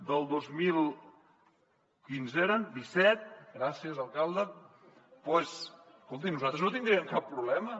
del dos mil disset gràcies alcalde doncs escolti nosaltres no hi tindríem cap problema